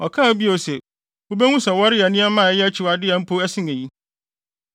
Ɔkaa bio se, “Wubehu sɛ wɔreyɛ nneɛma a ɛyɛ akyiwade a mpo ɛsen eyi.”